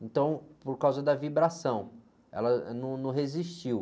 Então, por causa da vibração, ela, ãh, num, não resistiu.